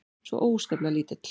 Svo óskaplega lítill.